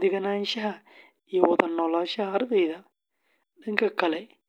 deganaanshaha, iyo wada noolaanshaha ardayda; dhanka kale, hoygu wuxuu.